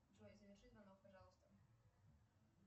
джой заверши звонок пожалуйста